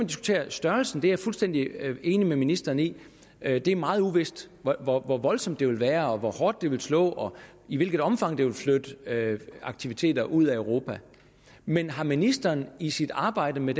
diskutere størrelsen jeg er fuldstændig enig med ministeren i at det er meget uvist hvor hvor voldsomt det vil være hvor hårdt det vil slå og i hvilket omfang det vil flytte aktiviteter ud af europa men har ministeren i sit arbejde med